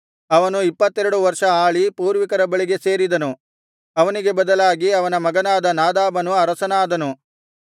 ಅವನು ಇಪ್ಪತ್ತೆರಡು ವರ್ಷ ಆಳಿ ಪೂರ್ವಿಕರ ಬಳಿಗೆ ಸೇರಿದನು ಅವನಿಗೆ ಬದಲಾಗಿ ಅವನ ಮಗನಾದ ನಾದಾಬನು ಅರಸನಾದನು